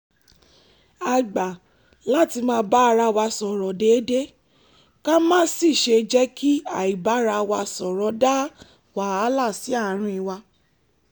a gbà láti máa bá ara wa sọ̀rọ̀ déédéé ká má sì jẹ́ kí àibára-wa-sọ̀rọ̀ dá wàhálà sí àárín wa